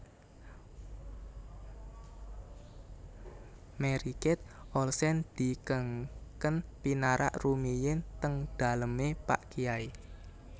Mary Kate Olsen dikengken pinarak rumiyin teng daleme pak kyai